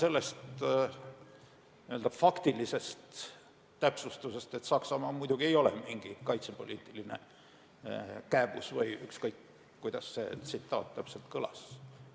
Alustame faktilisest täpsustusest, et Saksamaa muidugi ei ole mingi kaitsepoliitiline kääbus või ükskõik, kuidas see tsitaat täpselt kõlas.